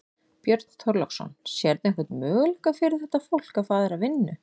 Björn Þorláksson: Sérðu einhvern möguleika fyrir þetta fólk að fá aðra vinnu?